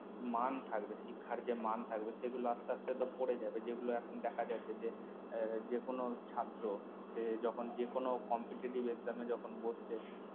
মান থাকবে শিক্ষার যে মান থাকবে সেগুলো আসতে আসতে তো পরে যাবে যে গুলো এখন দেখা যাচ্ছে যে যে কোনো ছাত্র সে যখন যেকোনো competitive exam এ যখন বসছে